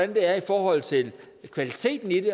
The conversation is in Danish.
det er i forhold til kvaliteten i